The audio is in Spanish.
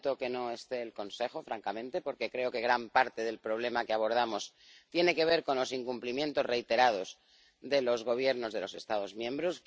Lamento que no esté el Consejo, francamente, porque creo que gran parte del problema que abordamos tiene que ver con los incumplimientos reiterados de los Gobiernos de los Estados miembros.